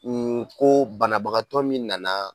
U ko banabagatɔ min nana